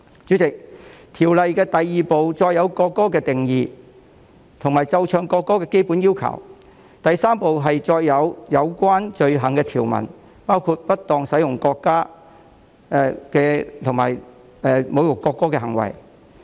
主席，《條例草案》第2部載有國歌的定義和奏唱國歌的基本要求，第3部載有有關罪行的條文，包括不當使用國歌及侮辱國歌的行為。